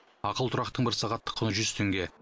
ақылы тұрақтың бір сағаттық құны жүз теңге